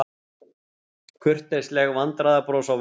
Kurteisleg vandræðabros á vörum.